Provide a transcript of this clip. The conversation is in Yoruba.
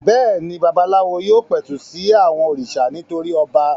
Bẹ́ẹ̀ ni, babaláwo yóò pẹ̀tù sí àwọn òrìṣà nítorí ọba.